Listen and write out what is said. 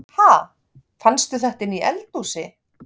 Ha! Fannstu þetta inni í eldhúsi?